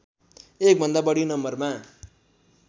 एकभन्दा बढी नम्बरमा